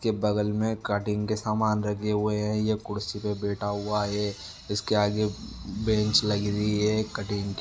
इसके बगल में कटिंग के सामान रखे हुए है ये कुर्सी पे बैठा हुआ है इसके आगे बेंच लगी हुई है कटिंग --